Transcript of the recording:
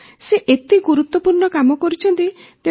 ହଁ ସେ ଏତେ ଗୁରୁତ୍ୱପୂର୍ଣ୍ଣ କାମ କରୁଛନ୍ତି